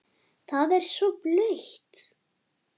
Það er svo blautt.